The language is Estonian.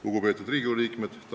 Lugupeetud Riigikogu liikmed!